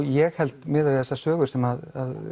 ég held miðað við þessar sögur sem